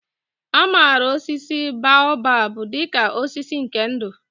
A maara osisi baobab dị ka osisi nke ndụ.